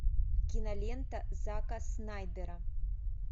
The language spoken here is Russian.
кинолента зака снайдера